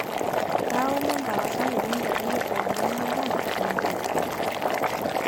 kaaomon tapasali piintadoyio ewang'an oltaa te mkaji